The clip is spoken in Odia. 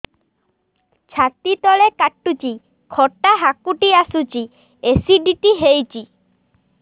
ଛାତି ତଳେ କାଟୁଚି ଖଟା ହାକୁଟି ଆସୁଚି ଏସିଡିଟି ହେଇଚି